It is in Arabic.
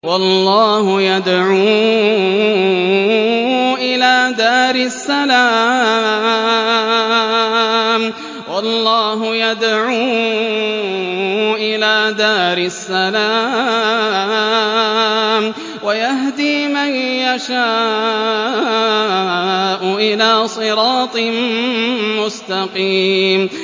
وَاللَّهُ يَدْعُو إِلَىٰ دَارِ السَّلَامِ وَيَهْدِي مَن يَشَاءُ إِلَىٰ صِرَاطٍ مُّسْتَقِيمٍ